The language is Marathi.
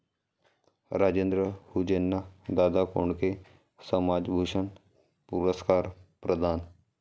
राजेंद्र हुंजेंना दादा कोंडके समाजभूषण पुरस्कार प्रदान